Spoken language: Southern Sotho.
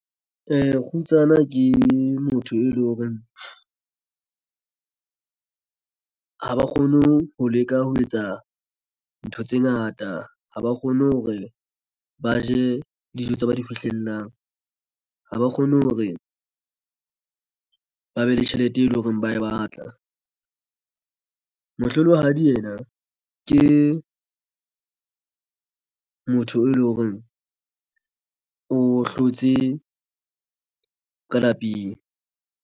Kgutsana ke motho e leng hore ha ba kgone ho leka ho etsa ntho tse ngata. Ha ba kgone hore ba je dijo tse ba di fihlellang ha ba kgone hore ba be le tjhelete e leng hore ba e batla mohlolohadi yena ke motho e leng hore o hlotse ka lapeng.